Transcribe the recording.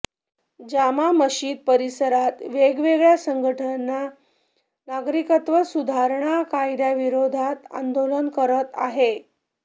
जामा मशीद परिसरात वेगवेगळ्या संघटना नागरिकत्व सुधारणा कायद्याविरोधात आंदोलन करत आहे